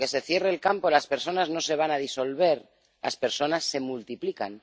Porque aunque se cierre el campo, las personas no se van a disolver las personas se multiplican.